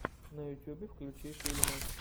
на ютьюбе включи фильмы